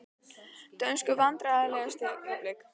Dönsku Vandræðalegasta augnablik?